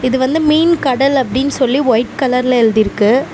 இது வந்து மீன் கடல் அப்டின்னு சொல்லி ஒய்ட் கலர்ல எழுதிருக்கு.